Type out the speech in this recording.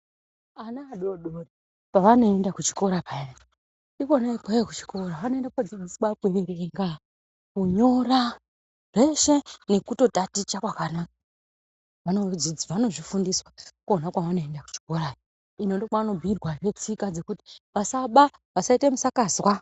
Ana adodori pavanoenda kuchikora payani ikwona ikweyo kuchikora anoende kodzidziswa kuerenga kunyora zveshe nekutotaticha kwakanaka vanodzidzi vanozvifunfiswa kwona kuchikorayo ino ndokwanobhiirwazve tsika dzekuti vasaba vasaite musakazwa.